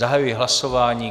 Zahajuji hlasování.